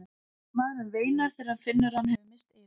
Maðurinn veinar þegar hann finnur að hann hefur misst eyrun.